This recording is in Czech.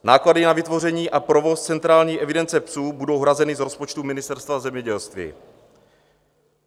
Náklady na vytvoření a provoz centrální evidence psů budou hrazeny z rozpočtu Ministerstva zemědělství.